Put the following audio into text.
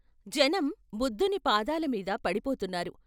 జనం బుద్ధుని పాదాల మీద పడిపోతున్నారు.